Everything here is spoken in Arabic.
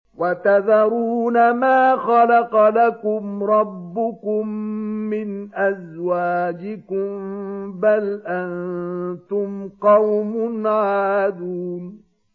وَتَذَرُونَ مَا خَلَقَ لَكُمْ رَبُّكُم مِّنْ أَزْوَاجِكُم ۚ بَلْ أَنتُمْ قَوْمٌ عَادُونَ